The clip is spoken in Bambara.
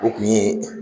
O kun ye